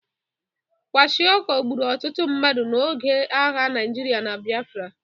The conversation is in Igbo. Kwashịokọ gburu ọtụtụ mmadụ n'oge agha Naịjirịa na Biafra.